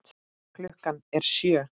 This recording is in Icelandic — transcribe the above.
Klukkan er sjö!